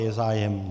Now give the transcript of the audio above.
Je zájem?